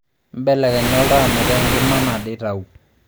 mbelekenya oltaa metaa enkima nado itau